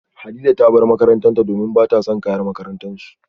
Hadiza ta bar makarantarta domin bata son kayan makarantarsu